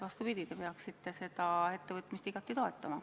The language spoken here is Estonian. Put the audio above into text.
Vastupidi, te peaksite seda ettevõtmist igati toetama.